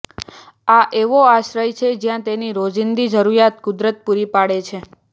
આ એવો આશ્રય છે જ્યાં તેની રોજિંદી જરૂરિયાત કુદરત પૂરી પાડે છે